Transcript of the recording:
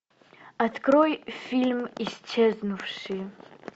открой фильм исчезнувшие